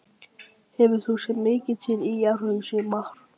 Hefur þú séð mikið til ÍR í sumar?